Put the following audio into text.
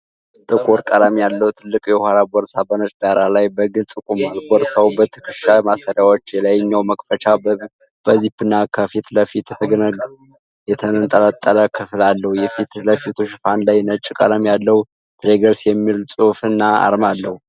ጥቁር ቀለም ያለው ትልቅ የኋላ ቦርሳ በነጭ ዳራ ላይ በግልፅ ቆሟል። ቦርሳው የትከሻ ማሰሪያዎች፣ የላይኛው መክፈቻ በዚፕና ከፊት ለፊት የተንጠለጠለ ክፍል አለው። የፊት ለፊቱ ሽፋን ላይ ነጭ ቀለም ያለው "TIGERBAGS" የሚል ጽሑፍ እና አርማ አለ።